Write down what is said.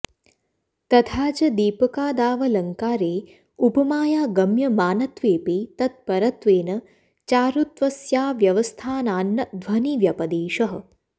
तथा च दीपकादावलङ्कारे उपमाया गम्यमानत्वेऽपि तत्परत्वेन चारुत्वस्याव्यवस्थानान्न ध्वनिव्यपदेशः